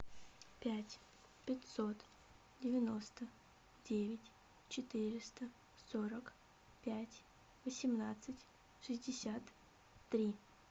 пять пятьсот девяносто девять четыреста сорок пять восемнадцать шестьдесят три